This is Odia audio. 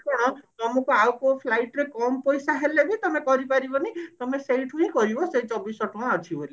କଣ ଆମକୁ ଆଉ କୋଉ flight ରେ କମ ପଇସା ହେଲେ ବି ତମେ କରି ପାରିବନି ତମେ ସେଇଠୁ ହିଁ କରିବ ସେଇ ଚବିଶି ଶହ ଟଙ୍କା ଅଛି ବୋଲି